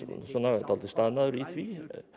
dálítið staðnaður í því